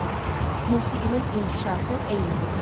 Musiqinin inkişafı eynidir.